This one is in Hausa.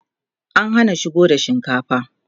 an Hana shigo da shinkafa